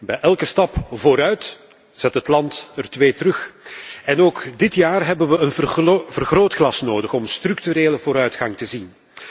Bij elke stap vooruit zet het land er twee terug. Ook dit jaar hebben we een vergrootglas nodig om structurele vooruitgang te zien.